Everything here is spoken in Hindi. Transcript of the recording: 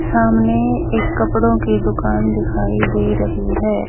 सामने एक कपड़ों की दुकान दिखाई दे रही है।